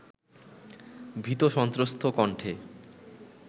ভীতসন্ত্রস্ত কণ্ঠে